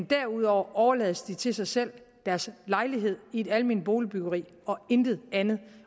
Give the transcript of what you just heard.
derudover overlades til sig selv i deres lejlighed i et alment boligbyggeri og intet andet